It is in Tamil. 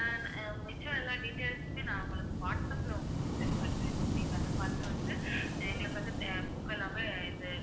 ஆஹ் அஹ் மிச்சம் எல்லா details உமே நான் உங்களுக்கு வாட்ஸ்ஆப்ல உங்களுக்கு send பண்றேன். ma'am நீங்க அதை பார்த்து வந்து எங்களுக்கு வந்து அஹ் book எல்லாமே இது